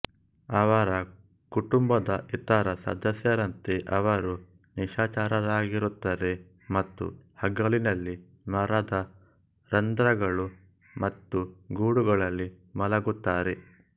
ಅವರ ಕುಟುಂಬದ ಇತರ ಸದಸ್ಯರಂತೆ ಅವರು ನಿಶಾಚರರಾಗಿರುತ್ತರೆ ಮತ್ತು ಹಗಲಿನಲ್ಲಿ ಮರದ ರಂಧ್ರಗಳು ಮತ್ತು ಗೂಡುಗಳಲ್ಲಿ ಮಲಗುತ್ತಾರೆ